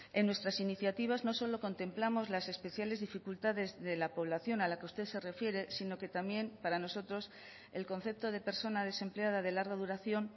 en nuestras iniciativas no solo contemplamos las especiales dificultades de la población a la que usted se refiere sino que también para nosotros el concepto de persona desempleada de larga duración